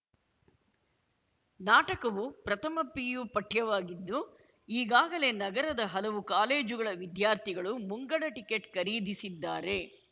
ನಾಟಕವು ಪ್ರಥಮ ಪಿಯು ಪಠ್ಯವಾಗಿದ್ದು ಈಗಾಗಲೇ ನಗರದ ಹಲವು ಕಾಲೇಜುಗಳ ವಿದ್ಯಾರ್ಥಿಗಳು ಮುಂಗಡ ಟಿಕೆಟ್‌ ಖರೀದಿಸಿದ್ದಾರೆ